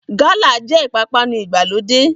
Gálà jẹ́ ìpápánu ìgbàlódé